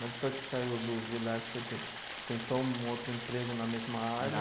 Mas depois que saiu do Villares, você tem, tentou um outro emprego na mesma área?